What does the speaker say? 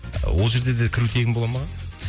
ы ол жерде де кіру тегін бола ма аға